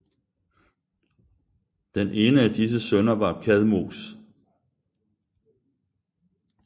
Den ene af disse sønner var Kadmos